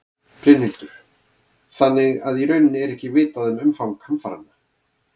Brynhildur: Þannig að í rauninni er ekki vitað um umfang hamfaranna?